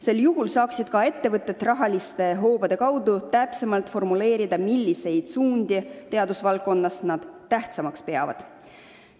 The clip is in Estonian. Sel juhul saaksid ettevõtted rahahoobasid kasutades täpsemalt formuleerida, milliseid suundi teadusvaldkonnas nad tähtsamaks peavad.